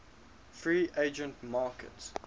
free agent market